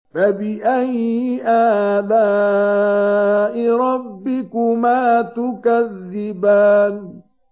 فَبِأَيِّ آلَاءِ رَبِّكُمَا تُكَذِّبَانِ